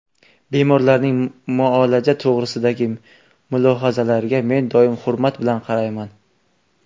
Bemorlarning muolaja to‘g‘risidagi mulohazalariga men doim hurmat bilan qarayman.